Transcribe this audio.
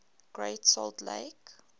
great salt lake